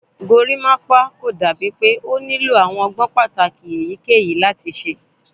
Gorimapa ko dabi pe o nilo awọn ọgbọn pataki eyikeyi lati ṣe